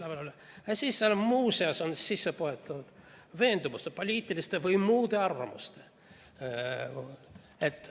Aga siis on sinna nagu muuseas sisse poetatud ka veendumused ning poliitilised ja muud arvamused.